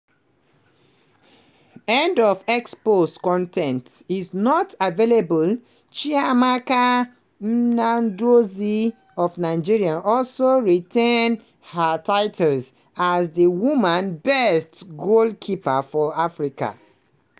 end of x post con ten t is not available chiamaka nnadozie of nigeria also retain her title as di women best goalkeeper for africa.